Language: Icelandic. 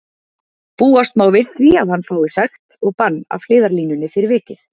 Búast má við því að hann fái sekt og bann af hliðarlínunni fyrir vikið.